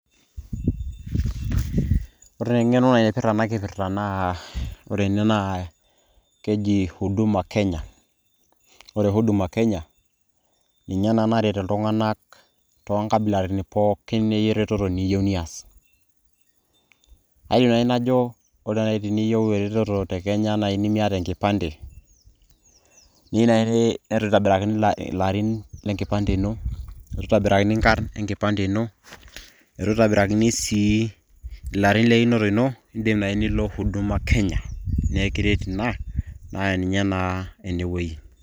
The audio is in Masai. Ore teng'eno ai naipirta enakipirta naa, ore ene naa keji Huduma Kenya. Ore Huduma Kenya, ninye naa naret iltung'anak tonkabilaritin pooki ereteto niyieu nias. Ayieu nai najo ore na teniyieu te Kenya nai nimiata enkipande, niyieu nai netu itobirakini ilarin lenkipande ino, itu itobirakini nkarn enkipande ino, itu itobirakini sii ilarin leinoto ino, idim nai nilo Huduma Kenya. Naa ekiret ina, na ninye naa enewei.